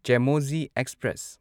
Chemmozhi express